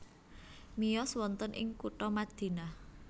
Miyos wonten ing kutha Madinah